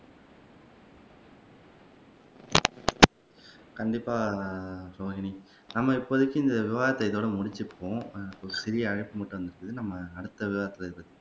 கண்டிப்பா ரோஹினி நம்ம இப்போதைக்கு இந்த விவாதத்த இதோட முடிச்சுக்குவோம் நம்ம அடுத்த விவாதத்துல இத பத்தி